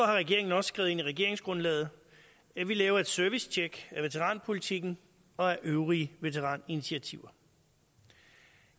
har regeringen også skrevet ind i regeringsgrundlaget at vi laver et servicetjek af veteranpolitikken og af øvrige veteraninitiativer